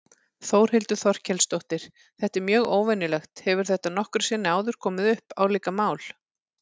Þórhildur Þorkelsdóttir: Þetta er mjög óvenjulegt, hefur þetta nokkru sinni áður komið upp, álíka mál?